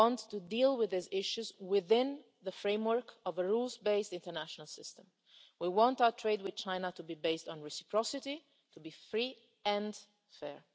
We want to deal with these issues within the framework of a rules based international system. We want our trade with China to be based on reciprocity and to be free and